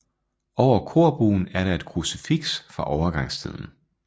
Over korbuen er der et krucifiks fra overgangstiden